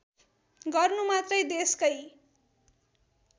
गर्नु मात्रै देशकै